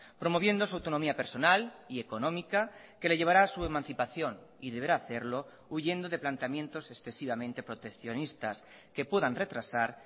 promoviendo su autonomía personal y económica que le llevará a su emancipación y deberá hacerlo huyendo de planteamientos excesivamente proteccionistas que puedan retrasar